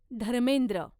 Dharmendra